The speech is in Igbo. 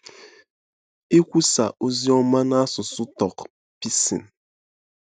Ikwusa ozi ọma n’asụsụ Tok Pisin